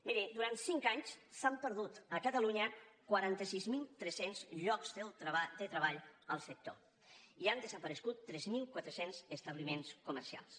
miri durant cinc anys s’han perdut a catalunya quaranta sis mil tres cents llocs de treball al sector i han desaparegut tres mil quatre cents establiments comercials